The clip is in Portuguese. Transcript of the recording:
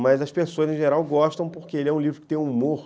Mas as pessoas, em geral, gostam porque ele é um livro que tem humor.